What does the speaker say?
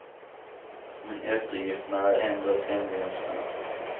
Men eftergifterna är ändå tämligen små.